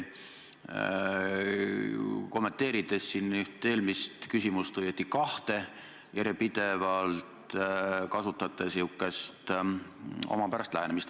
Kommenteerides üht või õieti kahte eelmist küsimust, te järjepidevalt kasutasite säärast omapärast lähenemist.